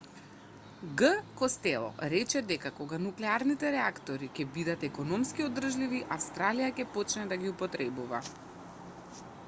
г костело рече дека кога нуклеарните реактори ќе бидат економски одржливи австралија ќе почне да ги употребува